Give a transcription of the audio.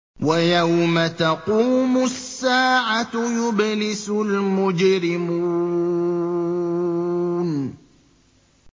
وَيَوْمَ تَقُومُ السَّاعَةُ يُبْلِسُ الْمُجْرِمُونَ